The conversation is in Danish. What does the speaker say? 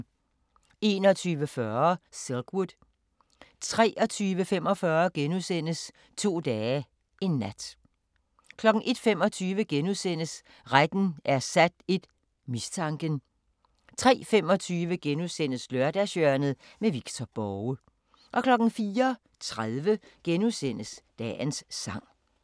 21:40: Silkwood 23:45: To dage, en nat * 01:25: Retten er sat I: Mistanken * 03:25: Lørdagshjørnet – Victor Borge * 04:30: Dagens sang *